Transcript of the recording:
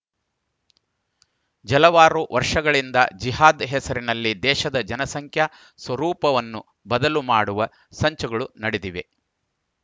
ಜಲವಾರು ವರ್ಷಗಳಿಂದ ಜಿಹಾದ್‌ ಹೆಸರಿನಲ್ಲಿ ದೇಶದ ಜನಸಂಖ್ಯಾ ಸ್ವರೂಪವನ್ನು ಬದಲು ಮಾಡುವ ಸಂಚುಗಳು ನಡೆದಿವೆ